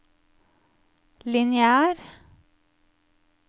lineær